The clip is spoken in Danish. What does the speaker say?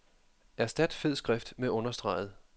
Erstat fed skrift med understreget.